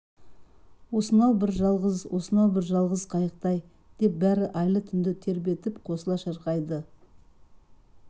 осынау бір жалғыз осынау бір жалғыз қайықта-ай деп бәрі айлы түнді тербетіп қосыла шырқайды